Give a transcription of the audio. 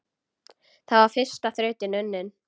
Þá var fyrsta þrautin unnin.